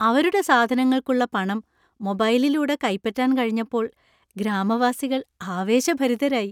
അവരുടെ സാധനങ്ങൾക്കുള്ള പണം മൊബൈലിലൂടെ കൈപ്പറ്റാൻ കഴിഞ്ഞപ്പോൾ ഗ്രാമവാസികൾ ആവേശഭരിതരായി.